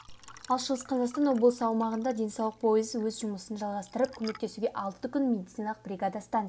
ал шығыс қазақстан облыс аумағында денсаулық пойызы өз жұмысын жалғастырып көмектесуде алты күн медициналық бригада станция